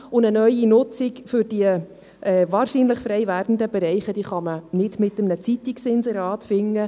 Eine neue Nutzung für die wahrscheinlich frei werdenden Bereiche kann man nicht in einem Zeitungsinserat finden.